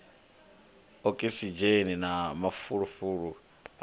okisidzheni na mafulufulu a yaho